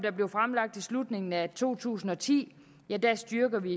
blev fremlagt i slutningen af to tusind og ti styrker vi